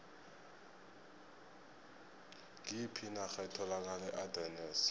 ngiyiphi inarha etholakala eardennes